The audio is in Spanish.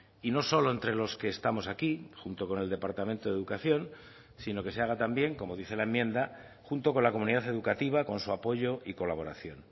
y no solo entre los que estamos aquí junto con el departamento de educación sino que se haga también como dice la enmienda junto con la comunidad educativa con su apoyo y colaboración